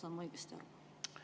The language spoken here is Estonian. Saan ma õigesti aru?